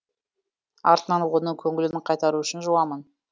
артынан оның көңілін қайтару үшін жуамын